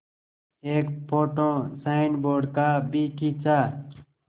एक photo signboard का भी खींचा